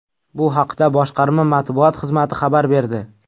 Bu haqda boshqarma matbuot xizmati xabar berdi .